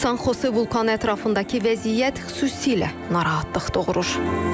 Sanxose vulkanı ətrafındakı vəziyyət xüsusilə narahatlıq doğurur.